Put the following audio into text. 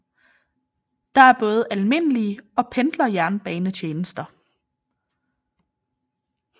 Der er både almindelige og pendlerjernbanetjenester